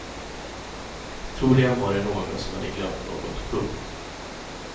Troligen var det någon som hade glömt något. punkt